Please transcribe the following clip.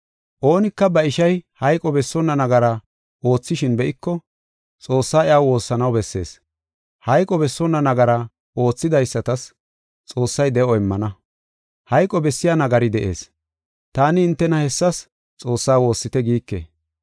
Oonika ba ishay hayqo bessonna nagara oothishin be7iko, Xoossaa iyaw woossanaw bessees. Hayqo bessonna nagara oothidaysatas Xoossay de7o immana. Hayqo bessiya nagari de7ees. Taani hintena hessas Xoossaa woossite giike.